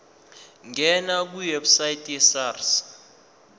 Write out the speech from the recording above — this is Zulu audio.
ngena kwiwebsite yesars